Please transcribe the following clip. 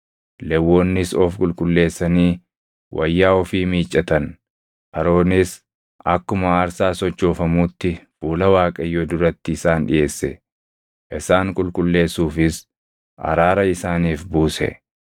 Lewwonnis of qulqulleessanii wayyaa ofii miiccatan. Aroonis akkuma aarsaa sochoofamuutti fuula Waaqayyoo duratti isaan dhiʼeesse; isaan qulqulleessuufis araara isaaniif buuse.